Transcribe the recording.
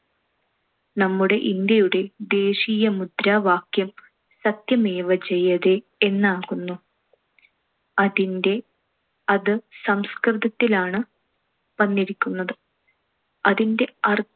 നമ്മുടെ ഇന്ത്യയുടെ ദേശീയ മുദ്രാവാക്യം സത്യമേവ ജയതേ എന്നാകുന്നു. അതിൻ്റെ~ അത് സംസ്‌കൃതിലാണ് വന്നിരിക്കുന്നത്. അതിൻ്റെ